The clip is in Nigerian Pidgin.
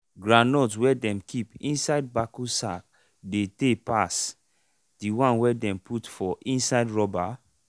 groundnut wey dem keep inside bako sack dey tay pass the one wey dem put for inside rubber